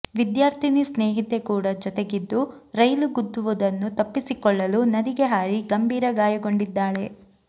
ವಿದ್ಯಾರ್ಥಿನಿ ಸ್ನೇಹಿತೆ ಕೂಡ ಜೊತೆಗಿದ್ದು ರೈಲು ಗುದ್ದುವುದನ್ನು ತಪ್ಪಿಸಿಕೊಳ್ಳಲು ನದಿಗೆ ಹಾರಿ ಗಂಭೀರ ಗಾಯಗೊಂಡಿದ್ದಾಳೆ